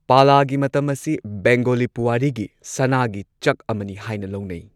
ꯄꯥꯂꯥꯒꯤ ꯃꯇꯝ ꯑꯁꯤ ꯕꯦꯡꯒꯣꯂꯤ ꯄꯨꯋꯥꯔꯤꯒꯤ ꯁꯅꯥꯒꯤ ꯆꯛ ꯑꯃꯅꯤ ꯍꯥꯏꯅ ꯂꯧꯅꯩ꯫